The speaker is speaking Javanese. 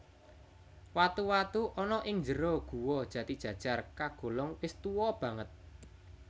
Watu watu ana ing njero Guwa Jatijajar kagolong wis tuwa banget